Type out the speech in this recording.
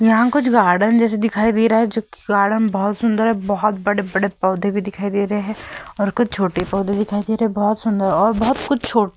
यहाँ कुछ गार्डन जैसे दिखाई दे रहा है जोकि गार्डन बहोत सुंदर है। बोहोत बड़े-बड़े पौधे भी दिखाई दे रहे हैं और कुछ छोटे पौधे दिखाई दे रहे हैं। बहोत सुंदर और बहोत कुछ छोटे --